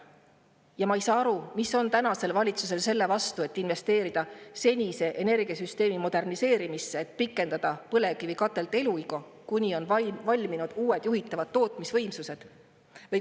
Ja ma ei saa aru, mis on tänasel valitsusel selle vastu, et investeerida senise energiasüsteemi moderniseerimisse, et pikendada põlevkivikatelde eluiga, kuni on valminud uued juhitavad tootmisvõimsused.